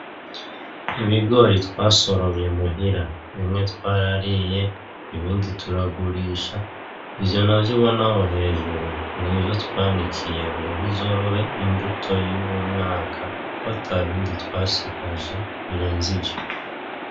Ibigori twasoromye muhira, bimwe twarariye; ibindi turagurisha, ivyo navyo ubona aho hejuru n'ivyo twanikiye ngo bizobe imbuto y'uwu mwaka kw'atabindi twasigaje birenze ivyo.